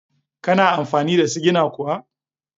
Kana amfani da sigina kuwa?